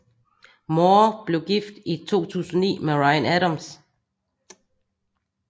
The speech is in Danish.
Moore blev gift i 2009 med Ryan Adams